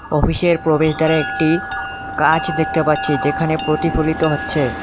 অফিসের প্রবেশদ্বারে একটি কাচ দেখতে পাচ্ছি যেখানে প্রতিফলিত হচ্ছে।